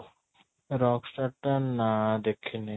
Rockstar ଟା ନା ଦେଖିନି